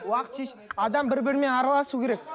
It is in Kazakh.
уақыт шешеді адам бір бірімен араласу керек